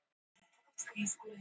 Alltaf lýgur hann þó skemmtilega.